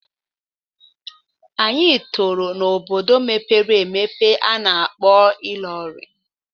Anyị tọrọ n'obodo mepere emepe a na-akpọ Ilorin.